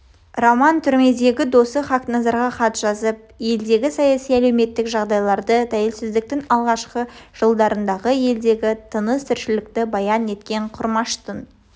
роман түрмедігі досы хақназарға хат жазып елдегі саяси-әлеуметтік жағдайларды тәуелсіздіктің алғашқы жылдарындағы елдегі тыныс тіршілікті баян еткен құрмаштың